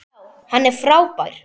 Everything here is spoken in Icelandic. Já, hann er frábær.